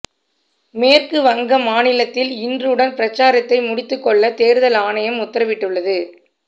மேற்கு வங்க மாநிலத்தில் இன்றுடன் பிரசாரத்தை முடித்துக் கொள்ள தேர்தல் ஆணையம் உத்தரவிட்டுள்ளது